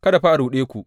Kada fa a ruɗe ku.